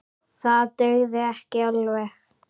Það dugði ekki alveg.